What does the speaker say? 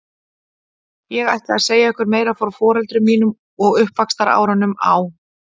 Ég ætla að segja ykkur meira frá foreldrum mínum og uppvaxtarárunum á